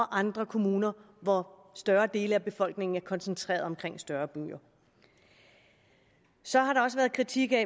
andre kommuner hvor større dele af befolkningen er koncentreret omkring større byer så har der også været kritik af